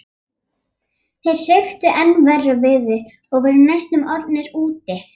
Þeir hrepptu enn verra veður og voru næstum orðnir úti.